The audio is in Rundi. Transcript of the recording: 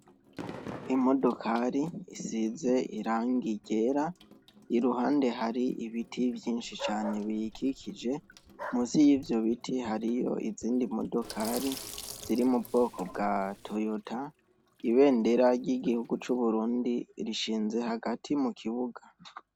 Imodokari isize irangi ryera, iruhande hari ibiti vyinshi cane biyikikije, musi yivyo biti hariho imodokari ziri mubwoko bwa Toyota, ibendera ry’igihugu c’Uburundi rishinze hagati mukibuga .